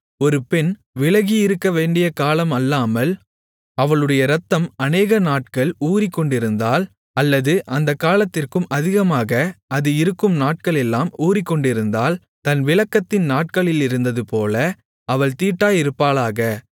ஒரு பெண் விலகியிருக்க வேண்டியகாலம் அல்லாமல் அவளுடைய இரத்தம் அநேகநாட்கள் ஊறிக்கொண்டிருந்தால் அல்லது அந்தக் காலத்திற்கும் அதிகமாக அது இருக்கும் நாட்களெல்லாம் ஊறிக்கொண்டிருந்தால் தன் விலக்கத்தின் நாட்களிலிருந்ததுபோல அவள் தீட்டாயிருப்பாளாக